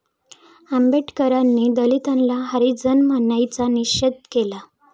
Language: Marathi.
आंबेडकरांनी दलितांना हरिजन म्हणण्याचा निषेध केला